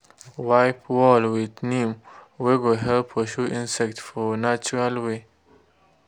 wipe wall with neem wey go help pursue insects for natural way.